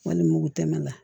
Walima mugu tɛmɛ la